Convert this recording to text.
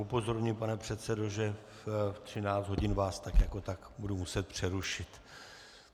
Upozorňuji, pane předsedo, že ve 13 hodin vás tak jako tak budu muset přerušit.